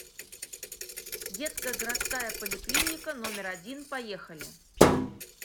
детская городская поликлиника номер один поехали